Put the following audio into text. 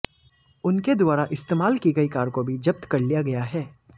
उनके द्वारा इस्तेमाल की गई कार को भी जब्त कर लिया गया है